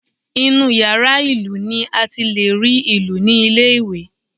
Inú yàrá ìlù ni a ti lè rí ìlù ní ilé ìwé